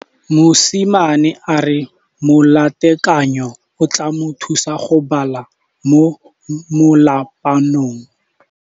Mosimane a re molatekanyô o tla mo thusa go bala mo molapalong.